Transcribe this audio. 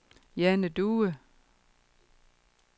Jane Due